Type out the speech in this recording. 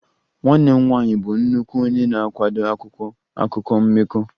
Nwanne m nwanyị bụ nnukwu onye na-akwado akwụkwọ akụkọ mmekọ